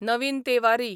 नवीन तेवारी